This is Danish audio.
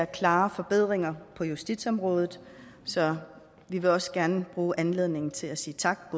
klare forbedringer på justitsområdet så vi vil også gerne bruge anledningen til at sige tak